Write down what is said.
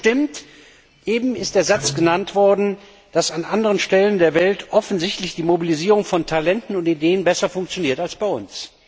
Trotzdem stimmt es eben ist es erwähnt worden dass in anderen Regionen der Welt offensichtlich die Mobilisierung von Talenten und Ideen besser funktioniert als bei uns.